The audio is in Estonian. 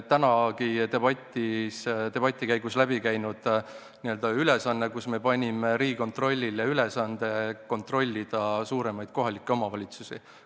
Tänagi on debati käigus läbi käinud see, et me panime Riigikontrollile ülesande kontrollida suuremaid kohalikke omavalitsusi.